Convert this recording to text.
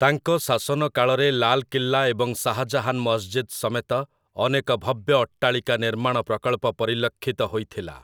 ତାଙ୍କ ଶାସନକାଳରେ ଲାଲ୍‌କିଲ୍ଲା ଏବଂ ଶାହା ଜାହାନ୍ ମସଜିଦ୍ ସମେତ ଅନେକ ଭବ୍ୟ ଅଟ୍ଟାଳିକା ନିର୍ମାଣ ପ୍ରକଳ୍ପ ପରିଲକ୍ଷିତ ହୋଇଥିଲା ।